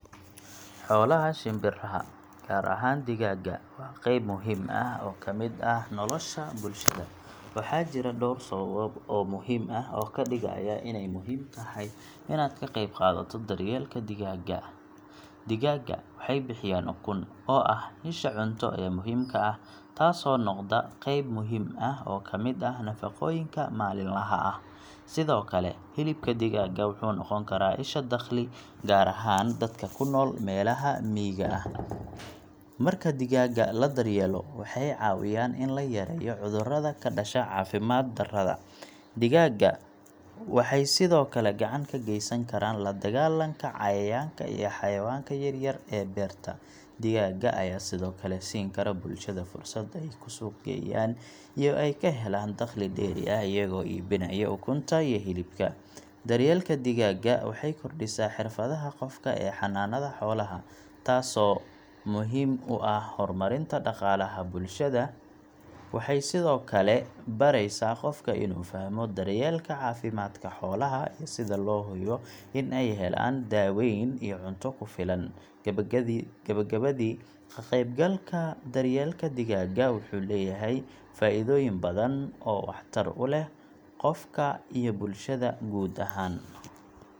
Xoolaha shimbiraha, gaar ahaan digaagga, waa qayb muhiim ah oo ka mid ah nolosha bulshada. Waxaa jira dhowr sababood oo muhiim ah oo ka dhigaya inay muhiim tahay inaad ka qayb qaadato daryeelka digaagga: Digaagga waxay bixiyaan ukun, oo ah isha cunto ee muhiimka ah, taasoo noqda qeyb muhiim ah oo ka mid ah nafaqooyinka maalinlaha ah. Sidoo kale, hilibka digaagga wuxuu noqon karaa isha dakhli, gaar ahaan dadka ku nool meelaha miyiga ah. Marka digaagga la daryeelo, waxay caawiyaan in la yareeyo cudurrada ka dhasha caafimaad-darrada. Digaagga waxay sidoo kale gacan ka geysan karaan la dagaallanka cayayaanka iyo xayawaanka yaryar ee beerta. Digaagga ayaa sidoo kale siin kara bulshada fursad ay ku suuqgeeyaan iyo ka helaan dakhli dheeri ah iyagoo iibinaya ukunta iyo hilibka. Daryeelka digaagga waxay kordhisaa xirfadaha qofka ee xanaanada xoolaha, taas oo muhiim u ah horumarinta dhaqaalaha bulshada. Waxay sidoo kale baraysaa qofka inuu fahmo daryeelka caafimaadka xoolaha iyo sida loo hubiyo in ay helaan daaweyn iyo cunto ku filan. Gabagabadii, ka-qaybgalka daryeelka digaagga wuxuu leeyahay faa’iidooyin badan oo waxtar u leh qofka iyo bulshada guud ahaan.